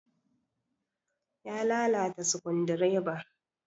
Ya lalata sukundireban.